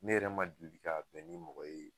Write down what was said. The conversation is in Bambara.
Ne yɛrɛ ma deli ka bɛn ni mɔgɔ ye